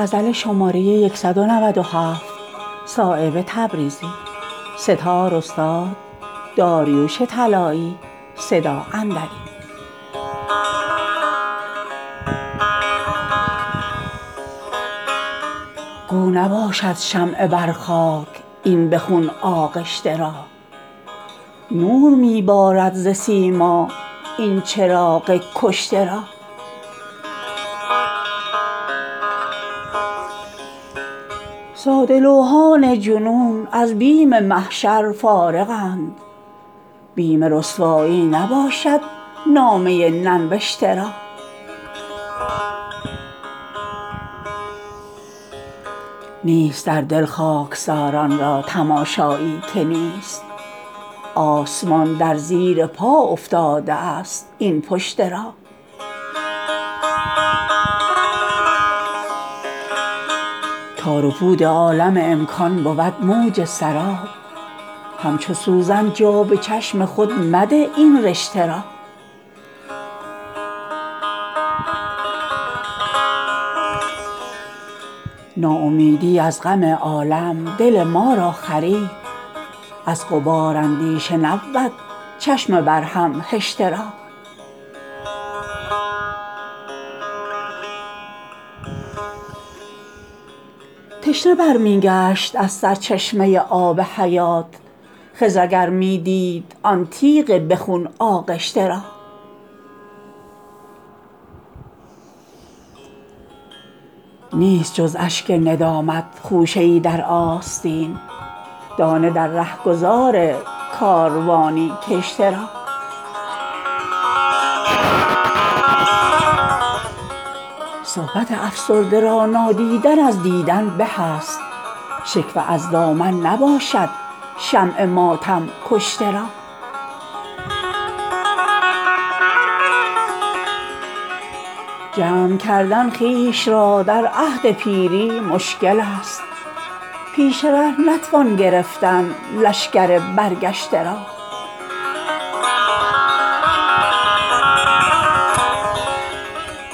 گو نباشد شمع بر خاک این به خون آغشته را نور می بارد ز سیما این چراغ کشته را ساده لوحان جنون از بیم محشر فارغند بیم رسوایی نباشد نامه ننوشته را نیست در دل خاکساران را تماشایی که نیست آسمان در زیر پا افتاده است این پشته را تار و پود عالم امکان بود موج سراب همچو سوزن جا به چشم خود مده این رشته را ناامیدی از غم عالم دل ما را خرید از غبار اندیشه نبود چشم بر هم هشته را تشنه برمی گشت از سرچشمه آب حیات خضر اگر می دید آن تیغ به خون آغشته را نیست جز اشک ندامت خوشه ای در آستین دانه در رهگذار کاروانی کشته را صحبت افسرده را نادیدن از دیدن به است شکوه از دامن نباشد شمع ماتم کشته را جمع کردن خویش را در عهد پیری مشکل است پیش ره نتوان گرفتن لشکر برگشته را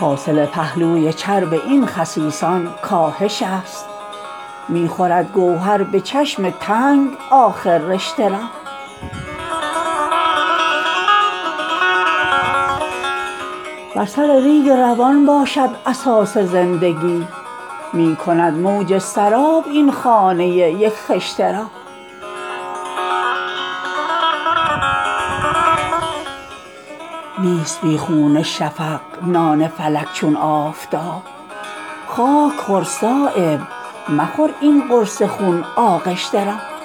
حاصل پهلوی چرب این خسیسان کاهش است می خورد گوهر به چشم تنگ آخر رشته را بر سر ریگ روان باشد اساس زندگی می کند موج سراب این خانه یک خشته را نیست بی خون شفق نان فلک چون آفتاب خاک خور صایب مخور این قرص خون آغشته را